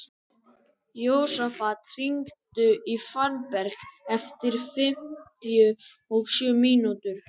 Jósafat, hringdu í Fannberg eftir fimmtíu og sjö mínútur.